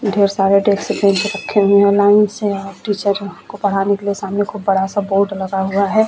ढेर सारे desk bench रखे हुए है लाइन से आप टीचर को पढ़ाने के लिए सामने को बड़ा-सा बोर्ड लगा हुआ है।